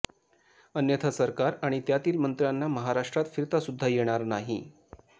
अन्यथा सरकार आणि त्यातील मंत्र्यांना महाराष्ट्रात फिरतासुद्धा येणार नाही